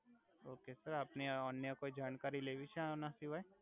okay sir આપને અન્ય કોઇ જાણકારી લેવી છે આના સિવાય